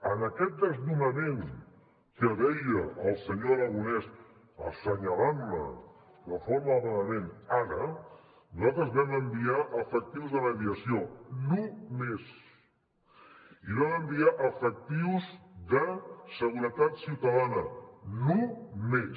en aquest desnonament que deia el senyor aragonés assenyalant me de forma vehement ara nosaltres hi vam enviar efectius de mediació només i hi vam enviar efectius de seguretat ciutadana només